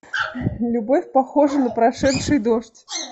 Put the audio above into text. любовь похожа на прошедший дождь